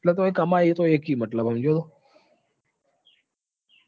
અને તોય કમાશે તો એક થી મતલબ છે સમજ્યો તું?